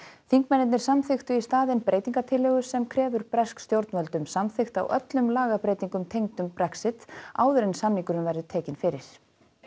þingmennirnir samþykktu í staðin breytingartillögu sem krefur bresk stjórnvöld um samþykkt á öllum lagabreytingum tengdum Brexit áður en samningurinn verður tekinn fyrir